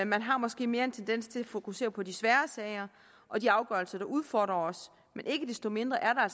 man har måske mere en tendens til at fokusere på de svære sager og de afgørelser der udfordrer os men ikke desto mindre er